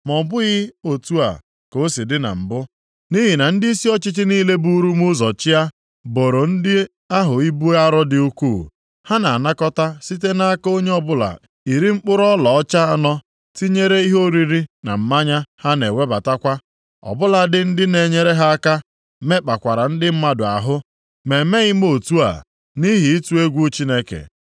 Ma ọ bụghị otu a ka o si dị na mbụ, nʼihi na ndịisi ọchịchị niile buru m ụzọ chịa boro ndị ahụ ibu arọ dị ukwuu. Ha na-anakọta site nʼaka onye ọbụla iri mkpụrụ ọlaọcha anọ, tinyere ihe oriri na mmanya ha na-ewebatakwa. Ọbụladị ndị na-enyere ha aka mekpakwara ndị mmadụ ahụ. Ma emeghị m otu a, nʼihi ịtụ egwu Chineke.